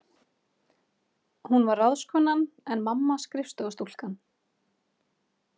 Hún var ráðskonan en mamma skrifstofustúlkan.